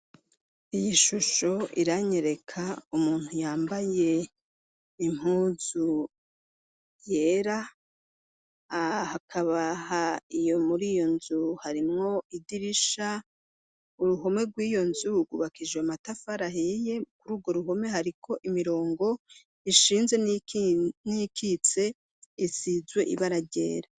Iyi shusho iranyereka umuntu yambaye impuzu yera ah akabaha iyo muri iyo nzu harimwo idirisha uruhome rw'iyo nzubugubaka ijo matafarahiye kuri urwo ruhome hariko imirongo ishiie inze nikitse isizwe ibararyera.